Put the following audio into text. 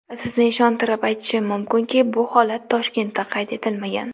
Sizni ishontirib aytishim mumkinki, bu holat Toshkentda qayd etilmagan.